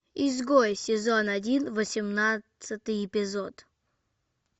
изгой сезон один восемнадцатый эпизод